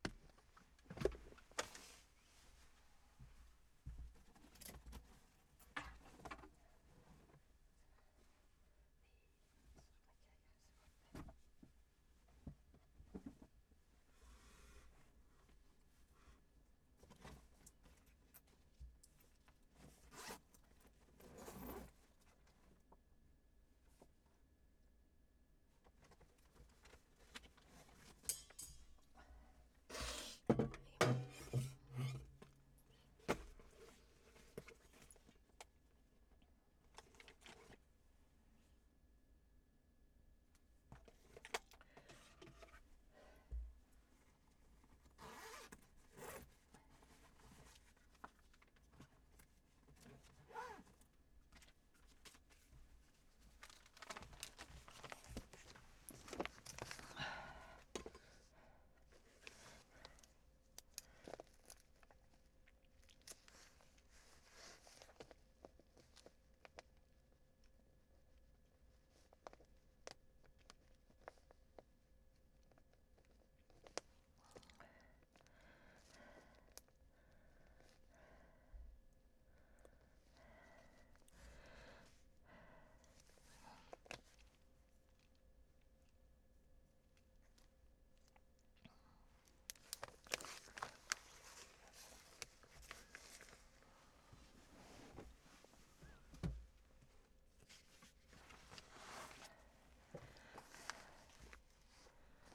DR P3